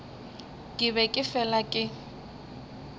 ke be ke fela ke